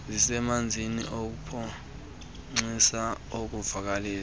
zisebenzisa uphoxiso ukuvakalisa